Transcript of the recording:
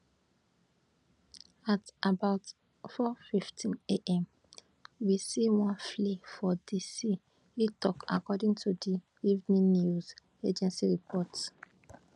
at about 415am we see one flare for di sea e tok according to di evn news agency reports